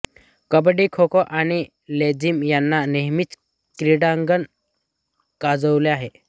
कबड्डी खोखो आणि लेझीम यांनी नेहमीच क्रीडांगण गाजवले आहे